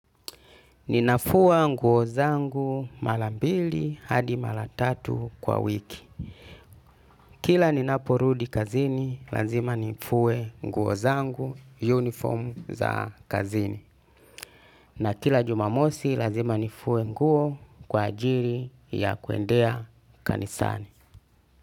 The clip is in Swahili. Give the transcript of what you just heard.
Ninafua nguo zangu mara mbili hadi mara tatu kwa wiki. Kila ninaporudi kazini lazima nifue nguo zangu uniform za kazini. Na kila jumamosi, lazima nifue nguo kwa ajili ya kuendea kanisani.